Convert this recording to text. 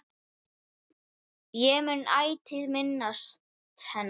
Ég mun ætíð minnast hennar.